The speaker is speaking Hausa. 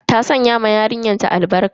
Ta sanya wa yarinyar ta albarka.